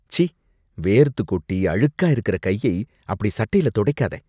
ச்சீ! வேர்த்து கொட்டி அழுக்கா இருக்கற கையை அப்படி சட்டைல தொடைக்காத.